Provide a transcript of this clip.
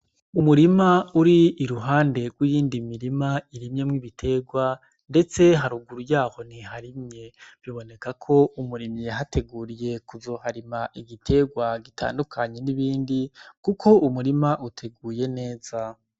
Umurima uri iruhande rw'iyindi mirima irimyemwo ibiterwa, ndetse haruguru yaho ntiharimye biboneka ko umurimi yahateguriye kuzoharima igiterwa gitandukanye n'ibindi, kuko umurima uteguye neza.